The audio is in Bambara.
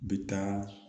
Bɛ taa